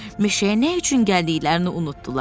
Meşəyə nə üçün gəldiklərini unutdular.